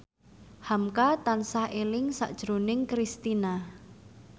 hamka tansah eling sakjroning Kristina